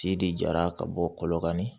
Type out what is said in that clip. Ci de jara ka bɔ kɔlɔnkanni